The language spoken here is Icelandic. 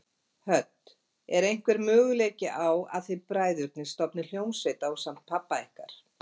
Hödd: Er einhver möguleiki á að þið bræðurnir stofnið hljómsveit ásamt pabba ykkar?